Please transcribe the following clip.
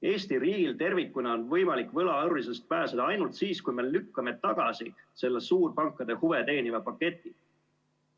Eesti riigil tervikuna on võimalik võlaorjusest pääseda ainult siis, kui me lükkame tagasi selle suurpankade huve teeniva paketi.